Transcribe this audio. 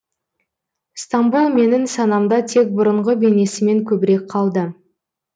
стамбұл менің санамда тек бұрынғы бейнесімен көбірек қалды